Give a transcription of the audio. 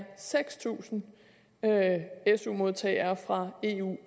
seks tusind su modtagere fra eu og